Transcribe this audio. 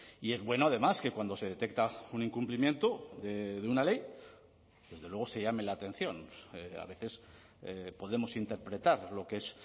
y es bueno además que cuando se detecta un incumplimiento de una ley desde luego se llame la atención a veces podemos interpretar lo que es